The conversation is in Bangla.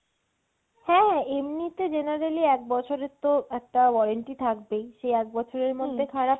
হ্যাঁ এমনিতে generally এক বছরের তো একটা warranty থাকবেই সেই এক বছরের মধ্যে খারাপ হলে